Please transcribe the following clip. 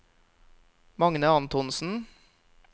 Magne Antonsen